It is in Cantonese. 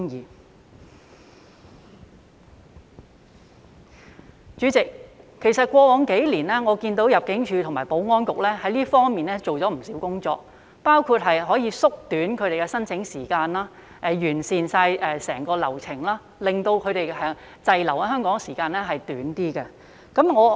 代理主席，其實過往數年我看到入境處和保安局在這方面做了不少工作，包括縮短他們的申請時間及完善整個流程，令他們滯留在香港的時間縮短。